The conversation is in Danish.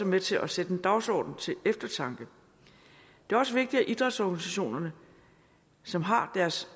med til at sætte en dagsorden til eftertanke det er også vigtigt at idrætsorganisationerne som har deres